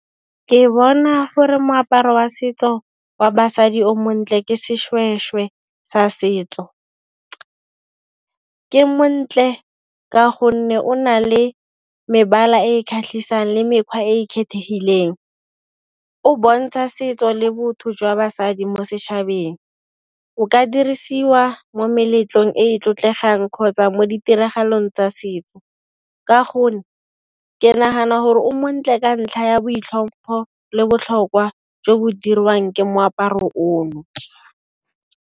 Ke bona gore moaparo wa setso wa basadi o montle ke seshweshwe sa setso. Ke montle ka gonne o na le mebala e kgatlhisang le mekgwa e e kgethegileng. O bontsha setso le botho jwa basadi mo setšhabeng, o ka dirisiwa mo meletlong e e tlotlegang kgotsa mo ditiragalong tsa setso. Ka gonne ke nagana gore o montle ka ntlha ya boitlhompho lo botlhokwa jo bo dirwang ke moaparo ono.